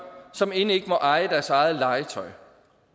som end ikke må eje deres eget legetøj